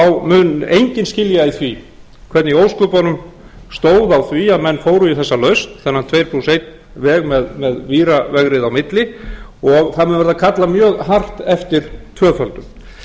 mun enginn skilja í því hvernig í ósköpunum stóð á því að menn fóru í þessa lausn þennan tveir plús einn veg með víravegrið á milli og það mun verða kallað mjög hart eftir tvöföldun